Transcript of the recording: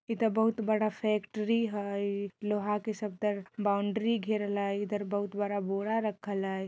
इधर बहुत बड़ा फैक्ट्री हय लोहा के सबदर बाउंड्री घेरल हय इधर बहुत बड़ा बोरा रखल हय।